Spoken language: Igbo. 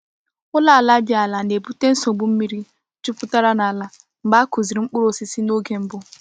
Ụlọ ala dị ala na-ebute nsogbu mmiri jupụtara n’ala mgbe a kụzie mkpụrụ osisi n’oge mbụ.